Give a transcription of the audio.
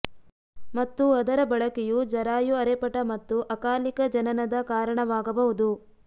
ಮತ್ತು ಅದರ ಬಳಕೆಯು ಜರಾಯು ಅರೆಪಟ ಮತ್ತು ಅಕಾಲಿಕ ಜನನದ ಕಾರಣವಾಗಬಹುದು